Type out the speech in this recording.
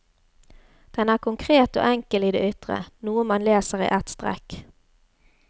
Den er konkret og enkel i det ytre, noe man leser i ett strekk.